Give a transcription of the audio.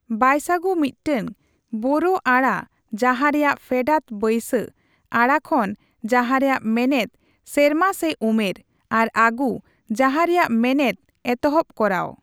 ᱵᱟᱭᱥᱟᱜᱩ ᱢᱤᱫᱴᱟᱝ ᱵᱳᱨᱳ ᱟᱹᱲᱟ ᱡᱟᱦᱟᱸ ᱨᱮᱭᱟᱜ ᱯᱷᱮᱰᱟᱛ ᱵᱟᱭᱥᱟ, ᱟᱹᱲᱟ ᱠᱷᱚᱱ, ᱡᱟᱦᱟᱸ ᱨᱮᱭᱟᱜ ᱢᱮᱱᱮᱫ ᱥᱮᱨᱢᱟ ᱥᱮ ᱩᱢᱮᱨ, ᱟᱨ ᱟᱜᱩ, ᱡᱟᱦᱟᱸ ᱨᱮᱭᱟᱜ ᱢᱮᱱᱮᱫ ᱮᱛᱚᱦᱚᱵᱽ ᱠᱚᱨᱟᱣ ᱾